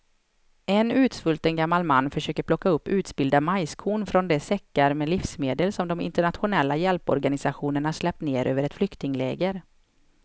En utsvulten gammal man försöker plocka upp utspillda majskorn från de säckar med livsmedel som de internationella hjälporganisationerna släppt ner över ett flyktingläger.